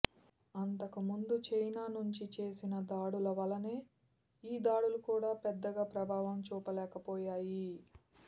అంతకు ముందు చైనా నుంచి చేసిన దాడుల వలెనే ఈ దాడులు కూడా పెద్దగా ప్రభావం చూపలేకపోయాయి